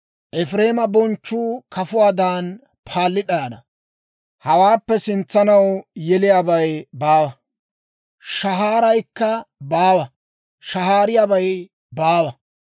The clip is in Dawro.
Efireema bonchchuu kafuwaadan paalli d'ayana; hawaappe sintsanaw yeliyaabay baawa; shahaaraykka baawa; shahaariyaabay baawa.